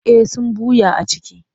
Eh sun ɓuya a ciki.